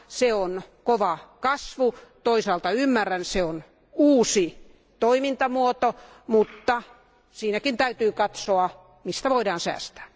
Se on suuri kasvu. Toisaalta ymmärrän sen, sillä se on uusi toimintamuoto, mutta siinäkin täytyy katsoa, mistä voidaan säästää.